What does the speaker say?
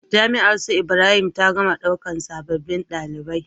Jami'ar su ibrahim ta gama ɗaukan sabobin ɗalibai